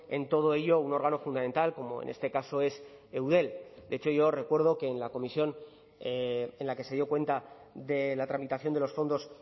en todo ello un órgano fundamental como en este caso es eudel de hecho yo recuerdo que en la comisión en la que se dio cuenta de la tramitación de los fondos